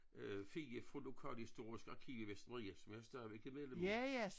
Øh Fie fra lokalhistorisk arkiv i Vestermarie som jeg stadigvæk er medlem af